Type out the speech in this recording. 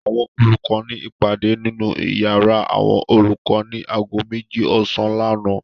Àwọn olùkọ́ ní ìpàdé nínú ìyàrá àwọn olùkọ́ ní ago méjì ọ̀sán lánàá.